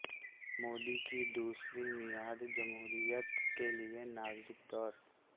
مودی کی دوسری میعاد جمہوریت کیلئے نازک دور